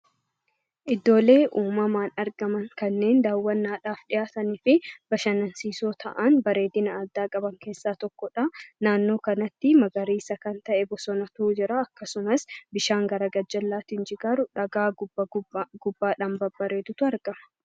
Iddoolee uumamaan argaman kanneen daawwannaadhaaf dhiyaatanii fi bashannansiisoo ta'an bareedina addaa qaban keessaa tokkodha. Naannoo kanatti magariisa kan ta'e bosonatu jira, akkasumas bishaan gadi jigaa jiru gubbaan dhagaa babbareedaatu argama.